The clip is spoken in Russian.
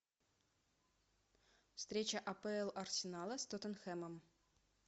встреча апл арсенала с тоттенхэмом